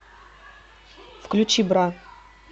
включи бра